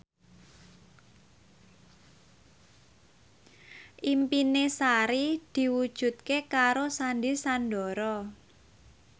impine Sari diwujudke karo Sandy Sandoro